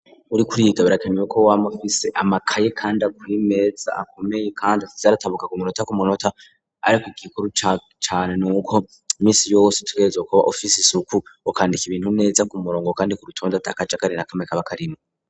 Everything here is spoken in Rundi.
Uriko uriga yitabira akemewe ko wamufise amakaye kandi aku imeza akomeye kandi atizaratabuka ku munota ku munota ari ko igikuru cane nuko iminsi y'ubose tugereza kuba ufise isuku ukandika ibintu neza ku murongo kandi ku rutondo atakaja kari nakamwe kaba karimwo.